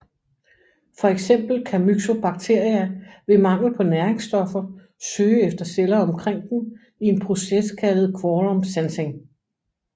For eksempel kan Myxobacteria ved mangel på næringsstoffer søge efter celler omkring dem i en proces kaldet quorum sensing